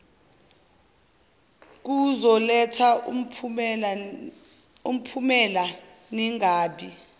kuzoletha umphumela ningabi